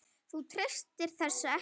Þú treystir þessu ekki?